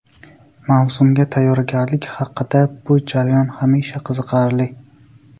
Mavsumga tayyorgarlik haqida Bu jarayon hamisha qiziqarli.